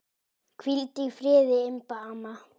Hvíldu í friði, Imba amma.